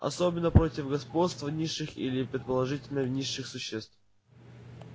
особенно против господства низших или предположительно низших существ